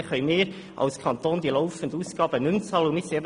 Dann können wir als Kanton die laufenden Ausgaben nicht mehr bezahlen.